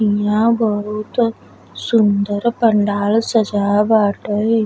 ईहा बहुत सुन्दर पंडाल सजाव बाटे।